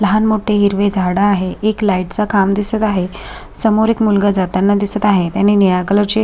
लहान मोठे हिरवे झाड आहे एक लाइट चे खांब दिसत आहे समोर एक मुलगा जाताना दिसत आहे त्यांनी निळ्या कलर चे--